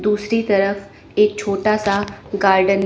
दूसरी तरफ एक छोटा सा गार्डन --